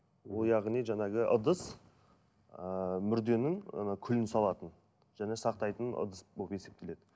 ол яғни жаңағы ыдыс ыыы мүрденің күлін салатын және сақтайтын ыдыс болып есептеледі